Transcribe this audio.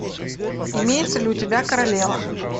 имеется ли у тебя королева